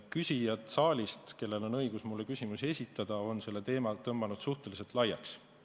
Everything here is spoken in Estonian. Küsijad saalist, kellel on õigus mulle küsimusi esitada, on selle teema tõmmanud suhteliselt laiaks.